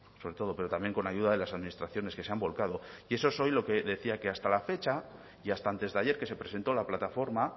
sobre todo pero también con ayuda de las administraciones que se han volcado y eso es hoy lo que le decía que hasta la fecha y hasta antes de ayer que se presentó la plataforma